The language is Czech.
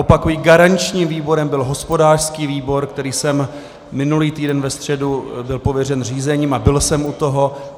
Opakuji, garančním výborem byl hospodářský výbor, kde jsem minulý týden ve středu byl pověřen řízením a byl jsem u toho.